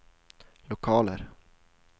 lokaler